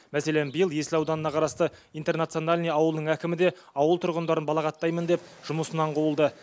мәселен биыл есіл ауданына қарасты интернациональный ауылының әкімі де ауыл тұрғындарын балағаттаймын деп жұмысынан қуылды